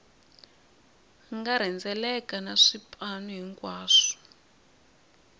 nga rhendzeleka na swipanu hinkwaswo